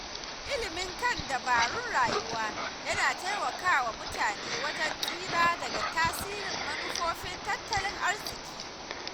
Ilimi kan dabarun rayuwa yana taimakawa mutane wajen tsira daga tasirin manufofin tattalin arziki.